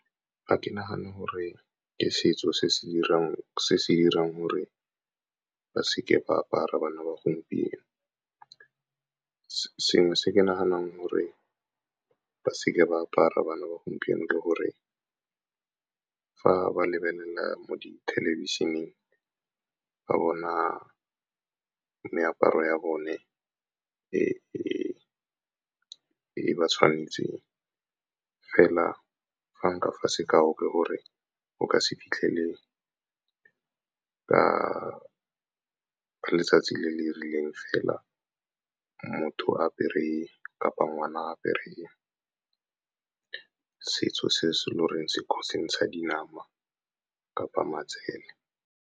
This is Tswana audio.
Ga ke nagane gore ke setso se se dirang gore ba seke ba apara bana ba gompieno. Sengwe se ke naganang gore ba seke ba apara bana ba gompieno, ke gore fa ba lebelela mo di thelebišheneng, ba bona meaparo ya bone e e ba tshwanetseng. Fela fa nka fa sekao, ke gore o ka se fitlhele ka letsatsi le le rileng fela motho apere kapa ngwana apere setso se se lo reng se ntsha dinama kapa matsela.